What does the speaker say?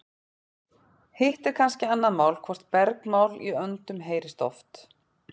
hitt er kannski annað mál hvort bergmál í öndum heyrist oft